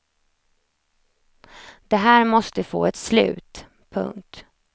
Det här måste få ett slut. punkt